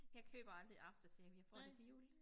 Jeg køber aldrig aftershave jeg får det til jul